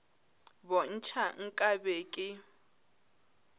bo ntšha nka be ke